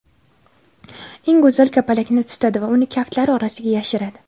eng go‘zal kapalakni tutadi va uni kaftlari orasiga yashiradi.